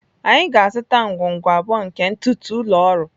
Anyị ga-azụta ngwungwu abụọ nke ntụtụ ụlọ ọrụ.